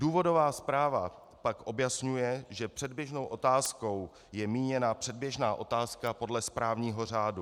Důvodová zpráva pak objasňuje, že předběžnou otázkou je míněna předběžná otázka podle správního řádu.